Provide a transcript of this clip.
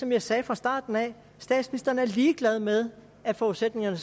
jeg sagde fra starten statsministeren er ligeglad med at forudsætningerne